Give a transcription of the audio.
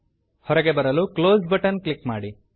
ಹೊರಗೆ ಬರಲು close button click ಮಾಡಿ